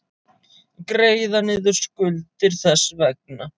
Greiða niður skuldir þess vegna.